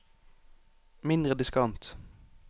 mindre diskant